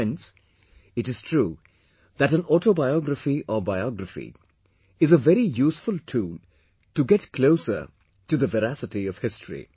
Friends, it is true that an autobiography or biography is a very useful tool to get closer to the veracity of history